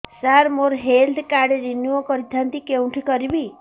ସାର ମୋର health card renew କରିଥାନ୍ତି କେଉଁଠି କରିବି